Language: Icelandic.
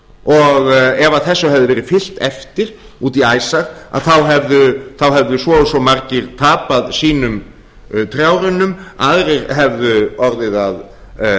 og ef þessu hefði verið fylgt eftir út í æsar hefðu svo og svo margir tapað sínum trjárunnum aðrir hefðu orðið að